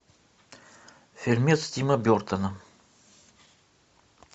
фильмец тима бертона